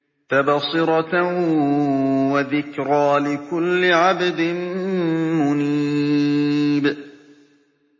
تَبْصِرَةً وَذِكْرَىٰ لِكُلِّ عَبْدٍ مُّنِيبٍ